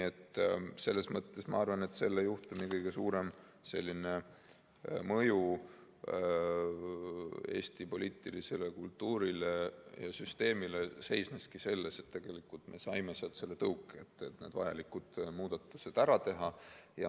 Selles mõttes ma arvan, et selle juhtumi kõige suurem mõju Eesti poliitilisele kultuurile ja süsteemile seisneski selles, et me saime tõuke vajalikud muudatused ära teha.